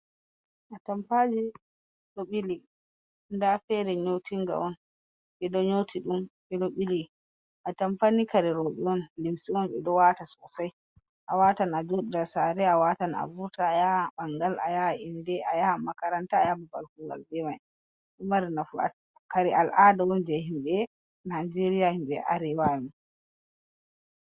Atampaji ɗon ɓili, nda fere nyoti nga on, ɓeɗo nyotiɗum ɓeɗo ɓili, atampa ni kare rewɓe on, limce on ɓeɗon waata sosei, awatan ajoɗa saare, awatan ayaha ɓangal, ayaha inde, ayaha makaranta, be babal kuugal ma bemai, ɗo mari nafu, kare Al-ahda, je yimɓe najeriya yimɓe arewa amin.